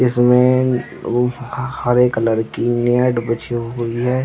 इसमें एक हरे कलर की मेड बिछी हुई है।